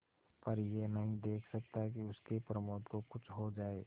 पर यह नहीं देख सकता कि उसके प्रमोद को कुछ हो जाए